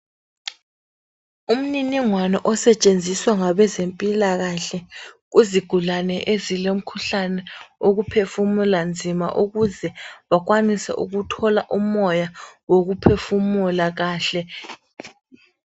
Umniningwwne osetshenziswa ngabezempilakahle kuzigulane ezilomkhuhlane wokuphefumula nzima ukuze bakwaniseukuthola umoya wokuphefumula kahle.